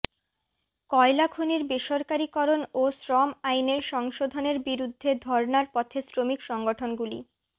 কয়লা খনির বেসরকারিকরণ ও শ্রম আইনের সংশোধনের বিরুদ্ধে ধর্নার পথে শ্রমিক সংগঠনগুলি